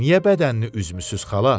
Niyə bədənini üzmüsüz, xala?